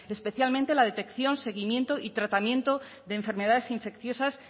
especialmente la detección seguimiento y tratamiento de enfermedades infecciosas